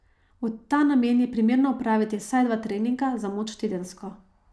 V ta namen je primerno opraviti vsaj dva treninga za moč tedensko.